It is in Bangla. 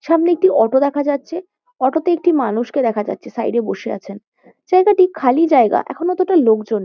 সামনে একটি অটো দেখা যাচ্ছে। অটো -তে একটি মানুষকে দেখা যাচ্ছে সাইড -এ বসে আছেন। জায়গাটি খালি জায়গা। এখন অতটা লোকজন--